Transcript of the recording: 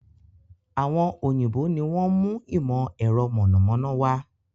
Àwọn òyìnbó ni wọn mú ìmọ̀ ẹ̀rọ mọ̀nàmọ́ná wá